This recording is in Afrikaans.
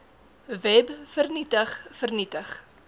web vernietig vernietig